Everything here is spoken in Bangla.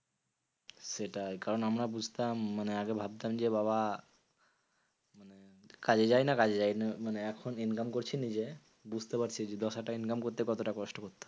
সেটাই কারণ আমরা বুঝতাম মানে আগে ভাবতাম যে বাবা কাজে যাইনা কাজে যাইনা। মানে এখন income করছি নিজে, বুঝতে পারছি যে দশহাজার টাকা income করতে কতটা কষ্ট করতে হয়?